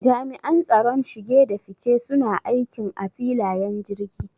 Jami'an tsaron shige da fice suna aikin a filayen jirgi